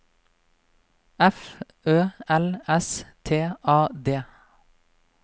F Ø L S T A D